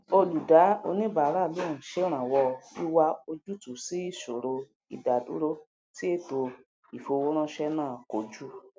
olùdáoníbàáràlóhùn ṣèrànwọ wíwá ojútùú sí ìsoro ìdádúró tí èto ifowóránṣe náà kojú